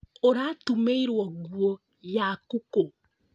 Ũratumĩirwo nguo yaku kũ?